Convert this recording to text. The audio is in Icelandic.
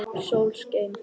Sól skein.